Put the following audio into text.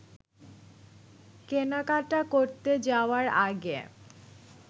কেনাকাটা করতে যাওয়ার আগে